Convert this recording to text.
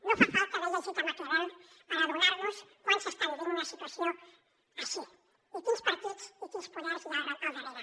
no fa falta haver llegit maquiavel per adonarnos quan s’està vivint una situació així i quins partits i quins poders hi ha al darrere